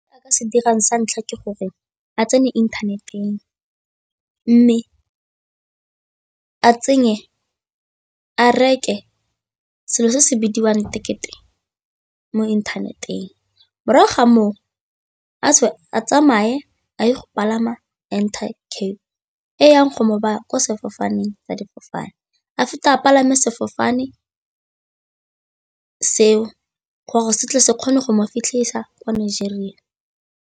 Se dirang sa ntlha ke gore a tsene inthaneteng mme a tsenye, a reke selo se se bidiwang ticket-e mo inthaneteng. Morago ga moo, a tswe a tsamaye a ye go palama Intercape e yang go mo baya kwa sefofaneng sa difofane, a feta a palame sefofane seo gore se tle se kgone go mo fitlhisa ko Nigeria.